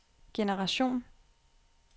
generation